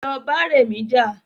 Lọ bá rẹmi jà